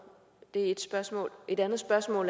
det er ét spørgsmål et andet spørgsmål